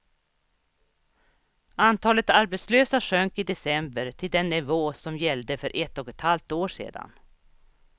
Antalet arbetslösa sjönk i december till den nivå som gällde för ett och ett halvt år sedan.